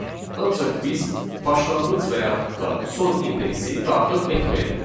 Ancaq biz başlanğıc və yaxud da son indeksi daxil etməyə də bilərik.